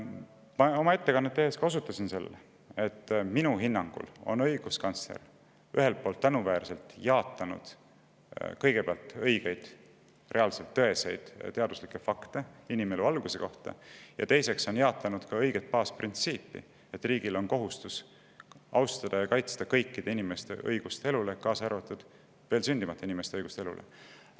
Ma oma ettekannet tehes juba osutasin sellele, et minu hinnangul on õiguskantsler, esiteks, tänuväärselt jaatanud õigeid, reaalselt tõeseid teaduslikke fakte inimelu alguse kohta, ja teiseks, ta on jaatanud ka õiget baasprintsiipi, mille kohaselt riigil on kohustus austada ja kaitsta kõikide inimeste õigust elule, kaasa arvatud veel sündimata inimeste õigust elule.